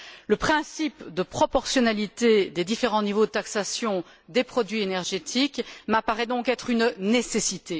Le principe de proportionnalité des différents niveaux de taxation des produits énergétiques m'apparaît donc être une nécessité.